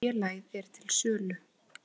Félagið er til sölu.